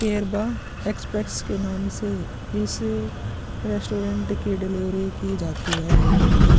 care बा express के नाम से इस रेस्टुरेंट के डिलीवरी से की जाती है यह एक--